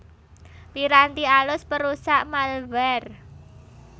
Piranti alus perusak malware